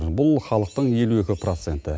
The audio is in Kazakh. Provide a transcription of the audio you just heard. бұл халықтың елу екі проценті